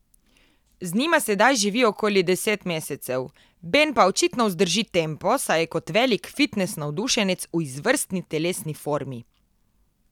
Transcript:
Z njima sedaj živi okoli deset mesecev, Ben pa očitno vzdrži tempo, saj je kot velik fitnes navdušenec v izvrstni telesi formi.